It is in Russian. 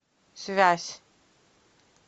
связь